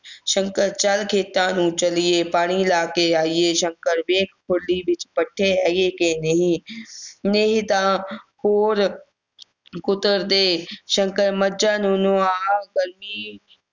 ਸ਼ੰਕਰ ਚੱਲ ਖੇਤਾਂ ਨੂੰ ਚੱਲੀਏ ਪਾਣੀ ਲਾ ਕੇ ਆਈਏ ਸ਼ੰਕਰ ਵੇਖ ਖੁਰਲੀ ਵਿਚ ਪੱਠੇ ਹੈਗੇ ਹੈ ਕੇ ਨਹੀਂ ਨਹੀਂ ਤਾਂ ਹੋਰ ਕੁਤਰ ਦੇ ਸ਼ੰਕਰ ਮੱਝਾਂ ਨੂੰ ਨਵਾਹ